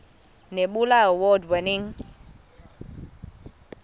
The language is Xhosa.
nebula award winning